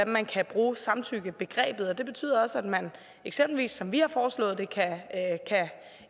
man kan bruge samtykkebegrebet det betyder også at man eksempelvis som vi har foreslået det kan